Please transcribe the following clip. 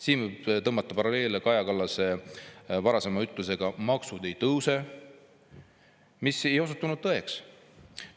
Siin võib tõmmata paralleele Kaja Kallase varasema ütlusega "Maksud ei tõuse", mis ei osutunud tõeks.